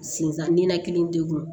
Sinzan ninakili degun